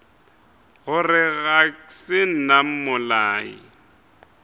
gore ga se nna mmolai